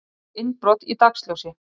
Tíð innbrot í dagsljósi